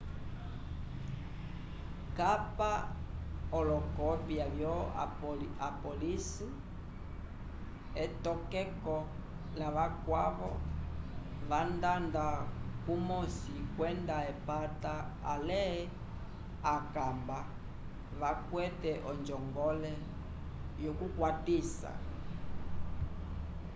kapa olokopya vyo apólice/etokeko lavakwavo vandanda kumosi kwenda epata ale akamba vakwete onjongole yokukwatisa